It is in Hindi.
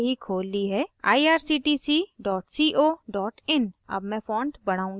मैंने यह website पहले ही खोल ली हैirctc co in